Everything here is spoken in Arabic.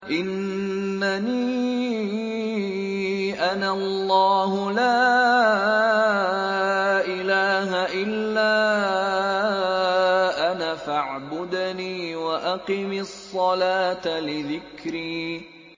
إِنَّنِي أَنَا اللَّهُ لَا إِلَٰهَ إِلَّا أَنَا فَاعْبُدْنِي وَأَقِمِ الصَّلَاةَ لِذِكْرِي